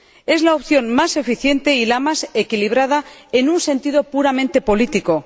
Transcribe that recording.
Es la opción más eficiente y la más equilibrada en un sentido puramente político